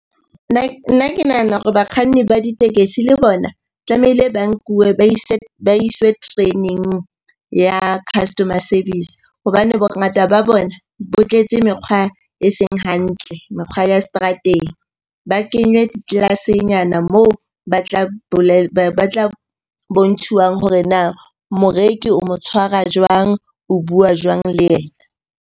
Nna ke nahana hore bakganni ba ditekesi le bona tlamehile ba nkuwe ba iswe training ya customer service hobane bongata ba bona bo tletse mekgwa eseng hantle, mekgwa ya seterateng. Ba kenywe di-class-e nyana moo ba batla bontshiwa hore na moreki o mo tshwara jwang? O bua jwang le yena?